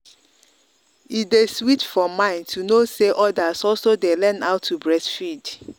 e day sweet for mind to know say others also day learn how to how to breastfeed.